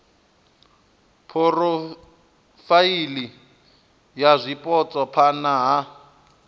phurofaili ya zwipotso phana ha